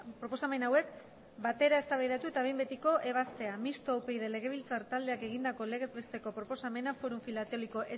proposamen hauek batera eztabaidatu eta behin betiko ebaztea mistoa upyd legebiltzar taldeak egindako legez besteko proposamena fórum filatélico